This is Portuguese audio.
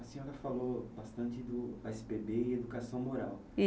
A senhora falou bastante do ésse pê bê e educação moral.